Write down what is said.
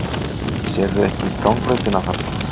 Sérðu ekki gangbrautina þarna?